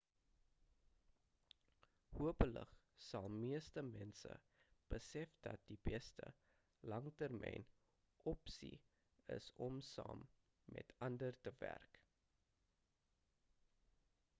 hopelik sal meeste mense besef dat die beste langtermyn opsie is om saam met ander te werk